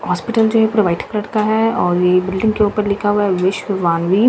Hospital जो यह provide करता है और यह बिल्डिंग के ऊपर लिखा हुआ है विश्व वान्वी।